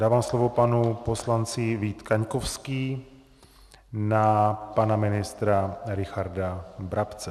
Dávám slovo panu poslanci Vítu Kaňkovskému na pana ministra Richarda Brabce.